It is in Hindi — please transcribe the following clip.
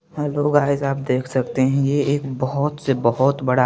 हेलो गाइज आप देख सकते है ये एक बहुत से बहुत बड़ा--